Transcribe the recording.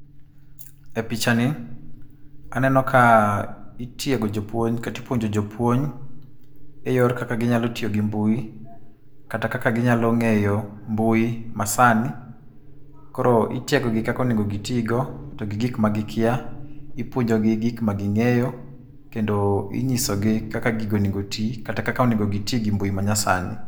E pichani aneno ka itiego jopuonj, kata ipuonjo jopuonj, e yor kaka ginyalo tiyo gi mbui, kata kaka ginyalo ngéyo mbui masani. Koro itiegogi kaka onego gitigo, to gi gik magikia. Ipuonjogi gik ma gingéyo, kendo inyisogi kaka gigo onego oti, kata kaka onego giti gi mbui ma nyasani.